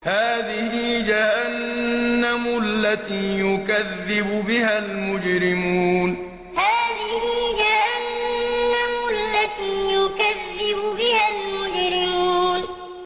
هَٰذِهِ جَهَنَّمُ الَّتِي يُكَذِّبُ بِهَا الْمُجْرِمُونَ هَٰذِهِ جَهَنَّمُ الَّتِي يُكَذِّبُ بِهَا الْمُجْرِمُونَ